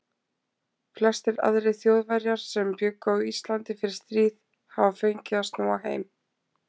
Flestir aðrir Þjóðverjar sem bjuggu á Íslandi fyrir stríð hafa fengið að snúa heim.